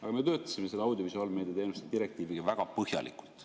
Aga me töötasime selle audiovisuaalmeedia teenuste direktiiviga väga põhjalikult.